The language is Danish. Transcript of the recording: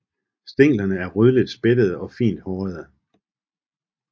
Stænglerne er rødligt spættede og fint hårede